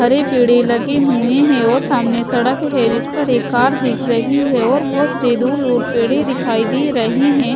हरे पेड़े लगे हुए है और सामने सड़क है जिस पर एक कार दिख रही है और बहोत से दूर दूर पेड़े दिखाई दे रहे हैं।